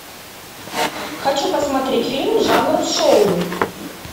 хочу посмотреть фильм жанр шоу